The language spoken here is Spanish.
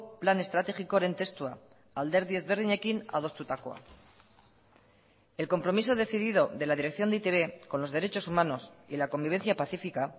plan estrategikoaren testua alderdi ezberdinekin adostutakoa el compromiso decidido de la dirección de e i te be con los derechos humanos y la convivencia pacífica